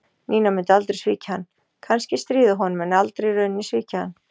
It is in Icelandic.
Nína myndi aldrei svíkja hann, kannski stríða honum en aldrei í rauninni svíkja hann.